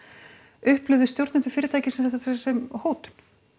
upplifðu stjórnendur fyrirtækisins þetta sem hótun